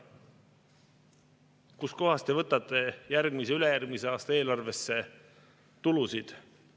Kust kohast te võtate järgmise, ülejärgmise aasta eelarvesse tulusid?